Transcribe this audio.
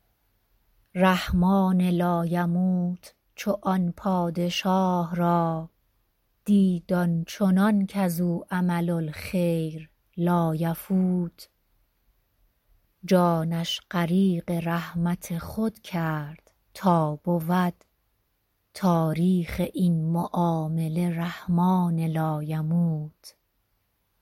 رحمان لایموت چو آن پادشاه را دید آن چنان کز او عمل الخیر لایفوت جانش غریق رحمت خود کرد تا بود تاریخ این معامله رحمان لایموت